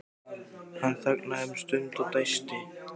Hann þagnaði um stund og dæsti.